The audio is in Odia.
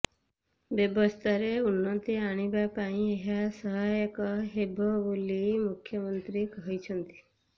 ବ୍ୟବସ୍ଥାରେ ଉନ୍ନତି ଆଣିବା ପାଇଁ ଏହା ସହାୟକ ହେବ ବୋଲି ମୁଖ୍ୟମନ୍ତ୍ରୀ କହିଛନ୍ତି